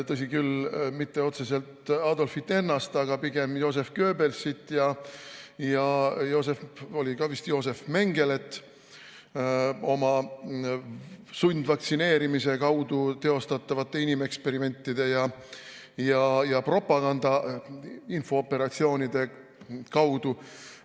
Tõsi küll, mitte otseselt Adolfit ennast, aga pigem Joseph Goebbelsit ja Josef – oli vist Josef – Mengelet oma sundvaktsineerimise kaudu teostatavate inimeksperimentide ja propaganda infooperatsioonide kaudu.